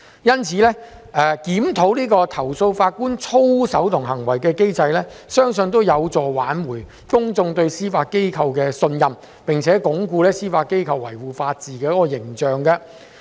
因此，檢討投訴法官操守及行為的機制，相信有助挽回公眾對司法機構的信任，並鞏固司法機構維護法治的形象。